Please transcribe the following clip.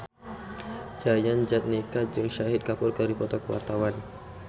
Yayan Jatnika jeung Shahid Kapoor keur dipoto ku wartawan